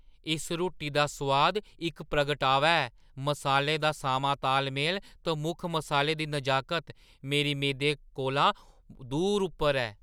इस रुट्टी दा सोआद इक प्रगटावा ऐ; मसालें दा सामां तालमेल ते मुक्ख मसाले दी नजाकत मेरी मेदें कोला दूर उप्पर ऐ।